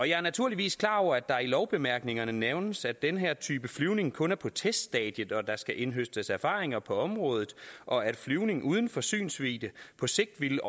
jeg er naturligvis klar over at der i lovbemærkningerne nævnes at den her type flyvning kun er på teststadiet og at der skal indhøstes erfaringer på området og at flyvningen uden for synsvidde på sigt vil